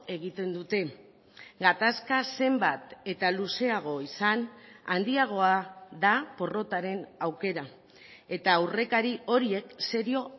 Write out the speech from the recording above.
egiten dute gatazka zenbat eta luzeago izan handiagoa da porrotaren aukera eta aurrekari horiek serio